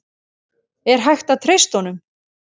Er hægt að treysta honum?